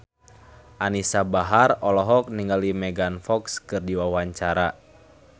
Anisa Bahar olohok ningali Megan Fox keur diwawancara